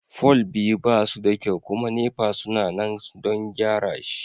fol biyu ba suda kyau kuma NEPA suna nan don gyara shi.